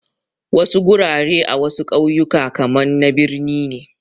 Wasu gurare a wasu kauyuka kaman na birni ne